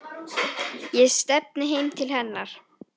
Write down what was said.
Ég stefni heim til hennar.